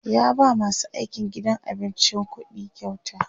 ya ba masu aikin gidan abincin ƙuɗikyauta